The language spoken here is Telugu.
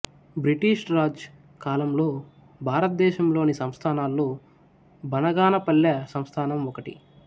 బ్రిటిష్ రాజ్ కాలంలో భారతదేశంలోని సంస్థానాల్లో బనగానపల్లె సంస్థానం ఒకటి